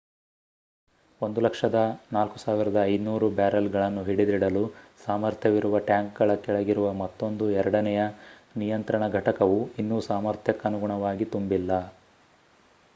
104,500 ಬ್ಯಾರೆಲ್‌ಗಳನ್ನು ಹಿಡಿದಿಡಲು ಸಾಮರ್ಥ್ಯವಿರುವ ಟ್ಯಾಂಕ್‌ಗಳ ಕೆಳಗಿರುವ ಮತ್ತೊಂದು ಎರಡನೆಯ ನಿಯಂತ್ರಣ ಘಟಕವು ಇನ್ನೂ ಸಾಮರ್ಥ್ಯಕನುಗುಣವಾಗಿ ತುಂಬಿಲ್ಲ